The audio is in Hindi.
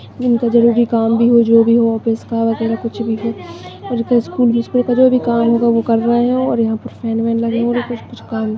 इनका जरुरी काम भी हो जो भी ऑफिस का वो हायस्कूल का जो भी काम हो वो कर रहे है --